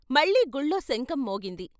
మళ్ళీ గుళ్ళో శంఖం మోగింది.